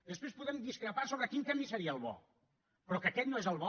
després podem discrepar sobre quin camí seria el bo però que aquest no és el bo